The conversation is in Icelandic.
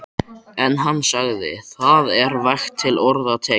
En hann sagði: Það er vægt til orða tekið.